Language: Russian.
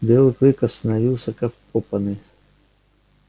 белый клык остановился как вкопанный